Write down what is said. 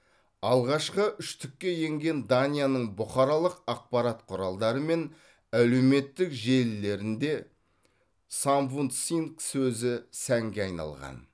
алғашқы үштікке енген данияның бұқаралық ақпарат құралдары мен әлеуметтік желілерінде самвундсин сөзі сәнге айналған